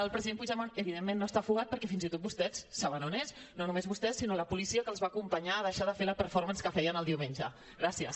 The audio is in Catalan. el president puigdemont evidentment no està fugat perquè fins i tot vostès saben on és no només vostès sinó la policia que els va acompanyar a deixar de fer la performancegràcies